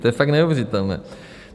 To je fakt neuvěřitelné.